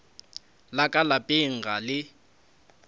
la ka lapeng ga le